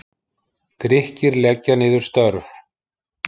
Grikkir leggja niður störf